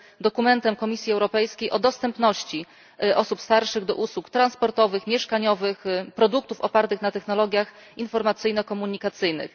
dokumentem Komisji Europejskiej o dostępności osób starszych do usług transportowych i mieszkaniowych oraz produktów opartych na technologiach informacyjno komunikacyjnych.